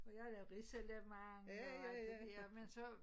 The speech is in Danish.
Og jeg havde lavet risalamande og alt det dér men så